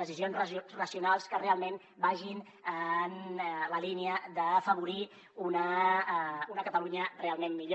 decisions racionals que realment vagin en la línia d’afavorir una catalunya realment millor